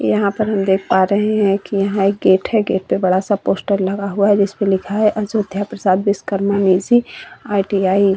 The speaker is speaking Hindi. यहाँ पर हम देख पा रहे हैं कि यहाँ गेट है। गेट पे बड़ा सा पोस्टर लगा हुआ है जिसपे लिखा है अजोध्या प्रसाद विश्वकर्मा निसी आई.टी.आई. ।